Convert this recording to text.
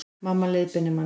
Mamma leiðbeinir manni